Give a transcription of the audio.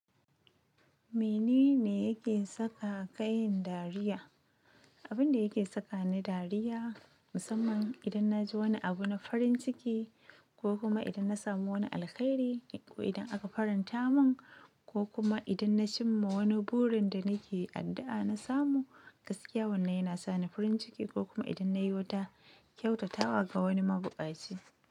Mene ne yake saka ka yin dariya? Abin da yake sakani dariya musamman idan na ji wani abu na farin ciki ko kuma idan na samu wani alkhairi ko idan aka faranta mun ko kuma idan na cimma wani burin da nake addu'a na samu, gaskiya wannan yana sa ni farin ciki ko kuma idan na yi wata kyautatawa ga wani mabuɗaci.